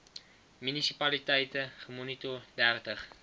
munisipaliteite gemoniteer dertig